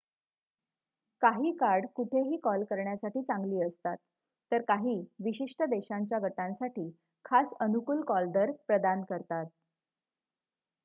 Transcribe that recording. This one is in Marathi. काही कार्ड कुठेही कॉल करण्यासाठी चांगली असतात तर काही विशिष्ट देशांच्या गटांसाठी खास अनुकूल कॉलदर प्रदान करतात